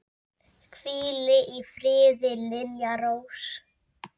Hvíl í friði, Lilja Rós.